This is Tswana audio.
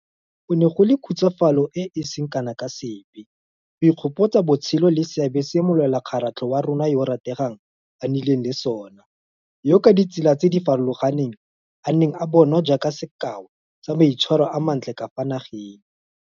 Go ne go le khutsafalo e e seng kana ka sepe go ikgopotsa botshelo le seabe se molwelakgaratlho wa rona yo a rategang a nnileng le sona, yo ka ditsela tse di farologaneng a neng a bonwa jaaka sekao sa maitshwaro a mantle ka fa nageng.